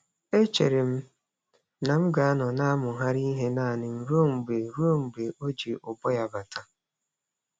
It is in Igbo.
E chere m na m ga-anọ na-amụgharị ihe naanị m ruo mgbe ruo mgbe o ji ụbọ ya bata.